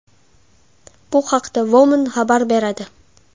Bu haqda Woman xabar beradi .